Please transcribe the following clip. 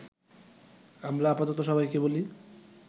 আমরা আপাতত সবাইকে বলি-